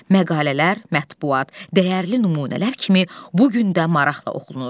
Məqalələr, mətbuat, dəyərli nümunələr kimi bu gün də maraqla oxunur.